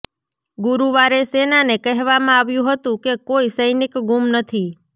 ગુરુવારે સેનાને કહેવામાં આવ્યું હતું કે કોઈ સૈનિક ગુમ નથી